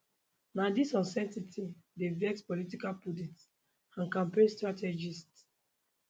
na dis uncertainty dey vex political pundits and campaign strategists